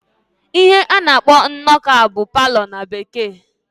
Ihe a na-akpọ ebe ọnọkọ a bụ palọ na Bekee.